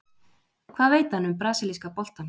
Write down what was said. Hvað veit hann um brasilíska boltann?